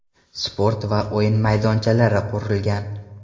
Sport va o‘yin maydonchalari qurilgan.